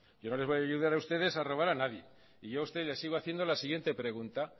yo no les voy a ayudar a ustedes a robar a nadie y yo a usted le sigo haciendo la siguiente pregunta